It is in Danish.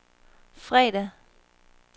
fredag